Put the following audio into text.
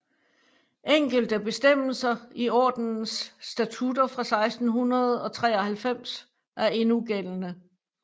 Enkelte bestemmelser i ordenens statutter fra 1693 er endnu gældende